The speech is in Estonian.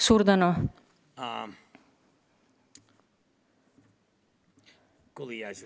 Suur tänu!